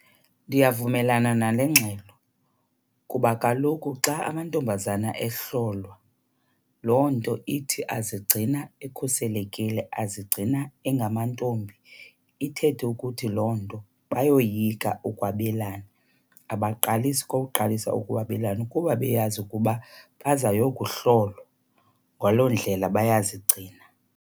Ndiyavumelana nale ngxelo kuba kaloku xa amantombazana ehlolwa loo nto ithi azigcina ekhuselekile, azigcina engamantombi. Ithethe ukuthi loo nto bayoyika ukwabelana, abaqalisi kwa uqalisa ukwabelana kuba beyazi ukuba bazawuyokuhlolwa. Ngaloo ndlela bayazigcina.